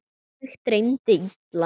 En mig dreymdi illa.